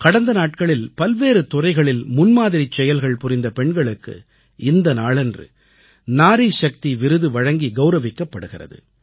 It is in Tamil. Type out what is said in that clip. கடந்த நாட்களில் பல்வேறு துறைகளில் முன்மாதிரிச் செயல்கள் புரிந்த பெண்களுக்கு இந்த நாளன்று நாரீ சக்தி விருது வழங்கி கவுரவிக்கப்படுகிறது